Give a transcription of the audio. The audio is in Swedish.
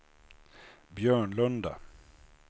Björnlunda